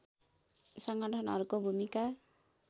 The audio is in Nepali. सङ्गठनहरूको भूमिका